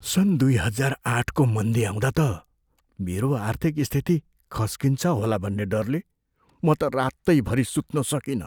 सन् दुई हजार आठको मन्दी आउँदा त मेरो आर्थिक स्थिति खस्किन्छ होला भन्ने डरले म त रातैभरि सुत्न सकिनँ।